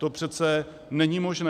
To přece není možné.